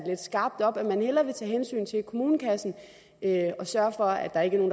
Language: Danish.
lidt skarpt op at man hellere vil tage hensyn til kommunekassen og sørge for at der ikke er